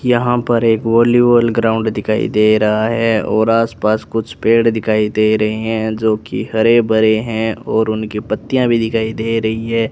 यहां पर एक वॉलीबॉल ग्राउंड दिखाई दे रहा है और आसपास कुछ पेड़ दिखाई दे रहे हैं जो कि हरे भरे हैं और उनके पत्तियां भी दिखाई दे रही हैं।